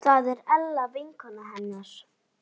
Það var Ella vinkona hennar.